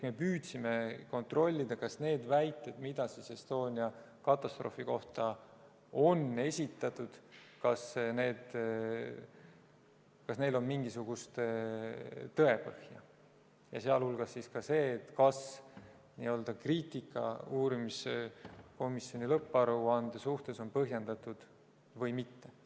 Me püüdsime kontrollida, kas neil väidetel, mida Estonia katastroofi kohta on esitatud, on mingisugust tõepõhja ja kas kriitika uurimiskomisjoni lõpparuande suhtes on põhjendatud või mitte.